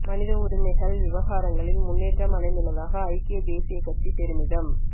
மனித உரிமைகள் விவகாரங்களில் முன்னேற்றம் அடைந்துள்ளதாக ஐக்கிய தேசியக் கட்சி பெருமிதம்